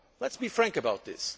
Let us be frank about this.